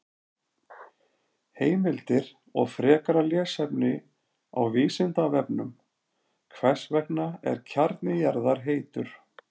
Heimildir og frekara lesefni á Vísindavefnum: Hvers vegna er kjarni jarðar heitur?